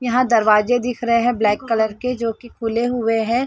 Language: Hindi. यहां दरवाजे दिख रहे हैं ब्लैक कलर के जो कि खुले हुए हैं।